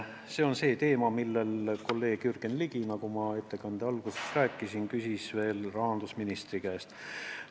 Nagu ma ettekande alguses rääkisin, see on see teema, mille kohta kolleeg Jürgen Ligi küsis veel rahandusministri käest.